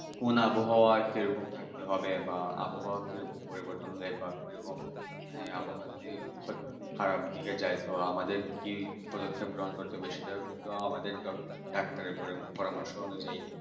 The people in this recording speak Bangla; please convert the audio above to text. কোন আবহাওয়া কি রকম হবে বা আবহাওয়া কি রকম পরিবর্তন হবে বা কি রকম মানে আবহাওয়া যদি খারাপ দিকে যায় তো আমাদের কি পদক্ষেপ গ্রহণ করতে হবে সেগুলো আমাদের সবাইকে একটার উপরে পরামর্শ নি